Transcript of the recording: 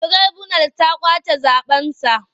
Tiraibunal ta ƙwace zaɓensa.